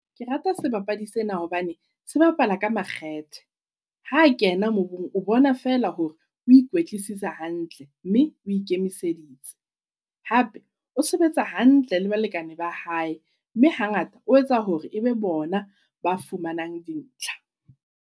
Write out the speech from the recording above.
Ke rata sebapadi sena hobane se bapala ka makgethe. Ha kena mobung o bona fela hore o ikwetlisitse hantle, mme o ikemiseditse. Hape o sebetsa hantle le balekane ba hae, mme hangata o etsa hore ebe bona ba fumanang di ntlha.